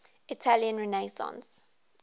italian renaissance